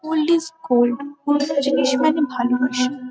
Old is gold পুরোনো জিনিস মানে ভালোবাসা।